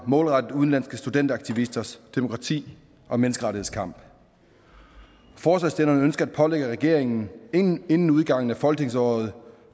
målrettet udenlandske studentersaktivisters demokrati og menneskerettighedskamp forslagsstillerne ønsker at pålægge regeringen inden inden udgangen af folketingsåret to